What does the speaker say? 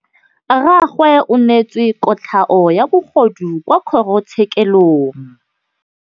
Rragwe o neetswe kotlhaô ya bogodu kwa kgoro tshêkêlông.